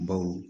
Baw